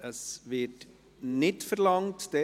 Das Wort wird nicht verlangt.